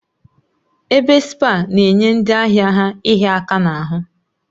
Ebe spaa na-enye ndị ahịa ha ịhịa aka n'ahụ